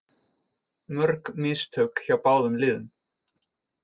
Mörg mistök hjá báðum liðum